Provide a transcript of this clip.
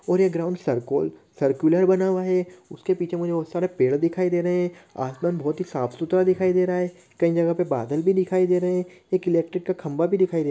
और ये ground circle circular बना हुआ है उसके पीछे मुझे बहुत सारा पेड़ दिखाई दे रहे हैं आसमान बहुत ही साफ सुथरा दिखाई दे रहा है कई जगह पे बादल भी दिखाई दे रहे हैं एक इलेक्ट्रिक का खंबा भी दिखाई दे--